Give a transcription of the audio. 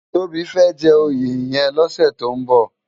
Tobi fè jè óyé yèn lòsè tó n bò